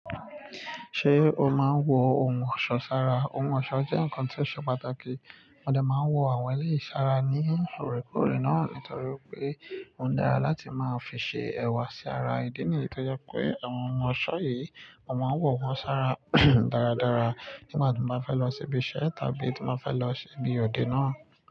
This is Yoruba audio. Ṣé o máa ń wọ ohun ọ̀ṣọ́ sára? Ohun ọ̀ṣọ́ jẹ́ nǹkan tí ó ṣe pàtàkì, mo de máa ń wọ àwọn eléyìí sára ní loòrèkóòrè náà nítorí pé ó dára láti máa fi ṣe ẹ̀wà sí ara, ìdí nìyí tó jẹ́ pé àwọn ohun ọ̀ṣọ́ yìí, mo máa ń wọ̀ wọ́n sára dáradára nígbà tí wọ́n bá fẹ́ lọ ṣíbí iṣẹ́ tàbí tí wọ́n bá fẹ́ lọ ṣíbí òde náà.